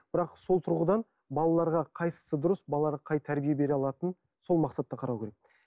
бірақ сол тұрғыдан балаларға қайсысы дұрыс балаға қай тәрбие бере алатын сол мақсатта қарау керек